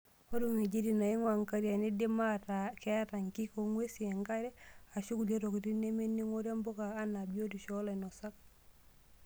Ore ng'wejitin neing'waa nkariak neidim ataa ataa keata nkik ong'wesi enkare, ashua kulie tokitin nemening'ore mbuka enaa biotisho oolainosak.